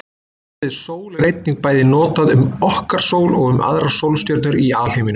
Orðið sól er einnig bæði notað um okkar sól og um aðrar sólstjörnur í alheiminum.